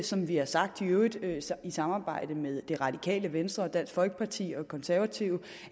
som vi har sagt i øvrigt i samarbejde med det radikale venstre dansk folkeparti og konservative